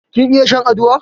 Kin iya shan aduwa?